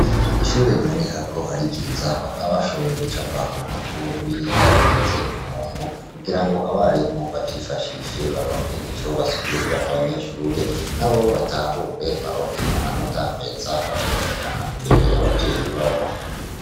Ishure biboneka ko ari iriza bakaba bashoboye gucapa ku mapuro ibihimba bigize umuntu kugira ngo abarimo bavyifashishe baronke ico basikurira abanyeshure na bo batahure baronke amanota meza bazoshikana imbere y'abavyeyi babo.